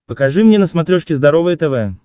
покажи мне на смотрешке здоровое тв